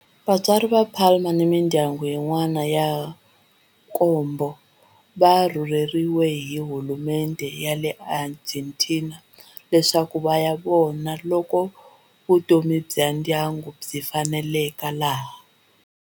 Vatswari va Palma ni mindyangu yin'wana ya nkombo va rhurheriwe hi hulumendhe ya le Argentina leswaku va ya vona loko vutomi bya ndyangu byi faneleka laha.